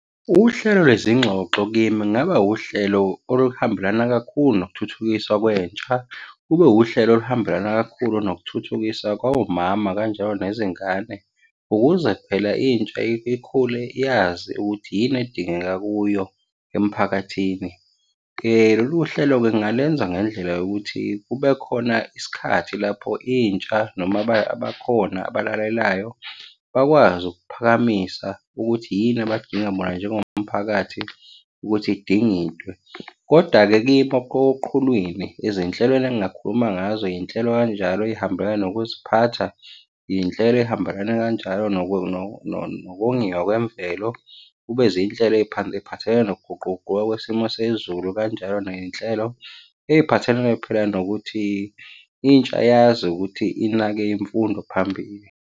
Uhlelo lwezingxoxo kimi kungaba uhlelo oluhambelana kakhulu nokuthuthukiswa kwentsha. Kube uhlelo oluhambelana kakhulu nokuthuthukiswa komama kanjalo nezingane ukuze phela intsha ikhule yazi ukuthi yini edingeka kuyo emphakathini. Lolu hlelo-ke ngingalenza ngendlela yokuthi kube khona isikhathi lapho intsha noma abakhona abalalelayo, bakwazi ukuphakamisa ukuthi yini abadinga bona njengomphakathi, ukuthi idingidwe, koda-ke kimi oqhulwini, ezinhlelweni engingakhuluma ngazo, iy'nhlelo kanjalo ezihambelana nokuziphatha. Iy'nhlelo ey'hambelana kanjalo nokongiwa kwemvelo. Kube zinhlelo ey'phathelene nokuguquguquka kwesimo sezulu, kanjalo ney'nhlelo ey'phathelene phela nokuthi intsha yazi ukuthi inake imfundo phambili.